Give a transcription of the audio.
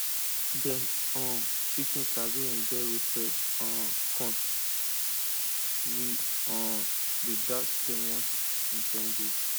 dem um chicken sabi enjoy roasted um corn we um dey dash dem once in seven days